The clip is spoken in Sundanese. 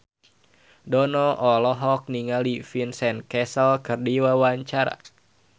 Dono olohok ningali Vincent Cassel keur diwawancara